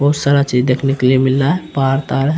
बहुत सारा चीज देखने के लिए मिल रहा है पहाड़ तहाड़ है।